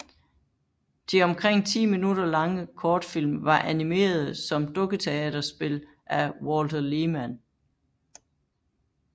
De omkring ti minutter lange kortfilm var animerede som dukketeaterspil af Walther Lehmann